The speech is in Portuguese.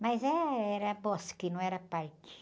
Mas eh, era bosque, não era parque.